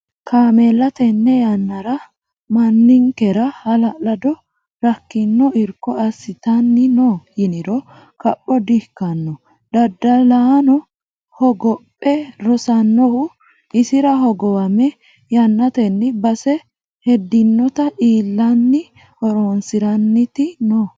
Kaameella tene yannara manninkera hala'lado rakkino irko assittani no yiniro kapho di"ikkano daddalanohu hogophe rosanohu isira hogowame yannateni base hedinotta iillanni horonsiranniti noohu.